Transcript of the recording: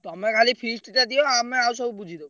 ତମେ ଖାଲି feast ଟା ଦିଅ ଆମେ ଆଉ ସବୁ ବୁଝିଦବୁ।